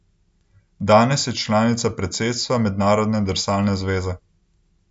Danes je članica predsedstva Mednarodne drsalne zveze.